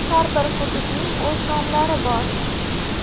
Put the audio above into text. Har bir hududning o‘z nomlari bor.